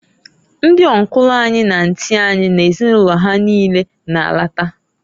Ndị ọnkụlụ anyị na antị anyị na ezinụlọ ha niine na -alata.